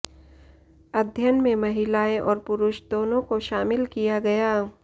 अध्ययन में महिलाएं और पुरुष दोनों को शामिल किया गया